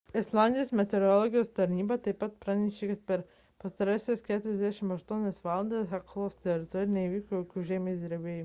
islandijos meteorologijos tarnyba taip pat pranešė kad per pastarąsias 48 valandas heklos teritorijoje neįvyko jokių žemės drebėjimų